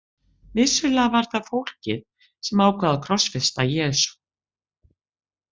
Vissulega var það fólkið sem ákvað að krossfesta Jesú.